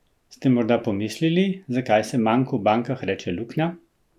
Ste morebiti pomislili, zakaj se manku v bankah reče luknja?